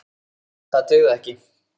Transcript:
Það dugði ekki.